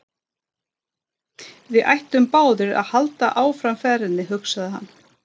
Við ættum báðir að halda áfram ferðinni, hugsaði hann.